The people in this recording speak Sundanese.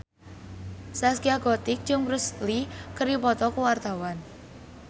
Zaskia Gotik jeung Bruce Lee keur dipoto ku wartawan